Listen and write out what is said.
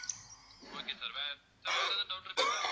okay sir வேற sir வேற எதுவும் doubt இருக்கா sir